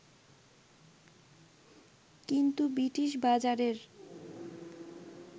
কিন্তু ব্রিটিশ বাজারের